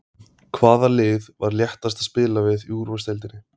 Hvaða lið var léttast að spila við í úrvalsdeildinni?